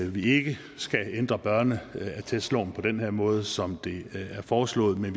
vi ikke skal ændre børneattestloven på den her måde som det er foreslået men